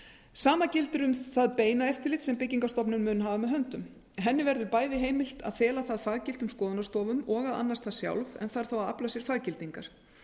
sama gildir um það beina eftirlit sem byggingarstofnun mun hafa með höndum henni verður bæði heimilt að fela það faggiltum skoðunarstofum og að annast það sjálf og þarf þá að afla sér faggildingar